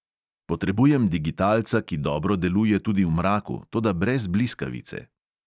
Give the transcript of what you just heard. Potrebujem digitalca, ki dobro deluje tudi v mraku, toda brez bliskavice.